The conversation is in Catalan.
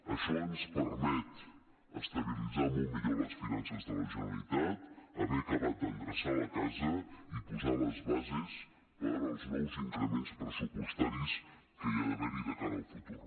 això ens permet estabilitzar molt millor les finances de la generalitat haver acabat d’endreçar la casa i posar les bases per als nous increments pressupostaris que hi ha d’haver de cara al futur